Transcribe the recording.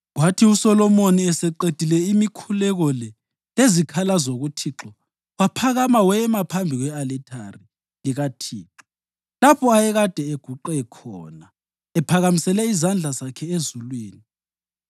Kwathi uSolomoni eseqedile imikhuleko le lezikhalazo kuThixo, waphakama wema phambi kwe-alithari likaThixo, lapho ayekade eguqe khona ephakamisele izandla zakhe ezulwini.